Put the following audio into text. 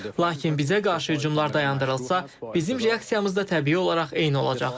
Lakin bizə qarşı hücumlar dayandırılsa, bizim reaksiyamız da təbii olaraq eyni olacaq.